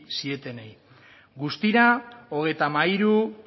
zitenei guztira hogeita hamairu